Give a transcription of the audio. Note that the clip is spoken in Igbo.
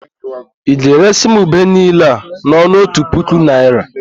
Ị ga-eresị m ube niile a n'ọnụ otu puku naịra?